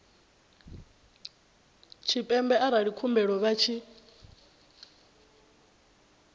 tshipembe arali khumbelo vha tshi